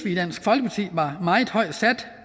i dansk folkeparti var meget højt sat